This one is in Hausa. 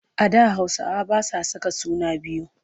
A da Hausawa ba sa saka suna biyu.